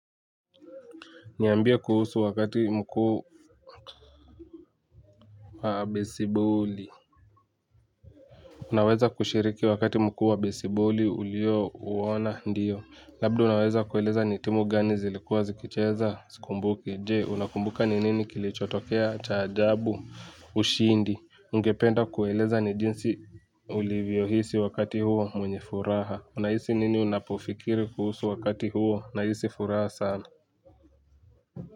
Niambie kuhusu wakati mkuu wa besiboli naweza kushiriki wakati mkuu wa besiboli ulio uona ndiyo. Labdi unaweza kueleza ni timu gani zilikuwa zikicheza sikumbuki. Je unakumbuka ni nini kilichotokea ch ajabu ushindi. Ungependa kueleza ni jinsi ulivyo hisi wakati huo mwenye furaha. Unahisi nini unapofikiri kuhusu wakati huo na hisi furaha sana.